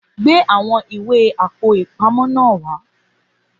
Gbé àwọn ìwé Àpò-ìpamọ́ náà wá